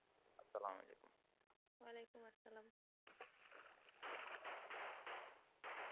আসালাম ওয়ালিকুম।